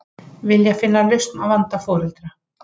Vilja finna lausn á vanda foreldra